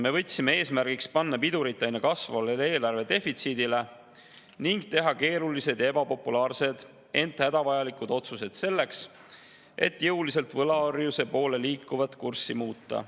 Me võtsime eesmärgiks tõmmata pidurit aina kasvavale eelarvedefitsiidile ning teha keerulised ja ebapopulaarsed, ent hädavajalikud otsused selleks, et jõuliselt võlaorjuse poole liikumise kurssi muuta.